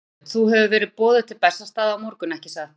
Þorbjörn: Þú hefur verið boðuð til Bessastaða á morgun, ekki satt?